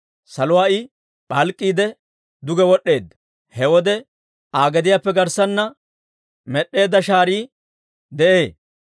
Saluwaa I p'alk'k'iide, duge wod'd'eedda. He wode Aa gediyaappe garssanna med'eedda shaarii de'ee.